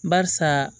Barisa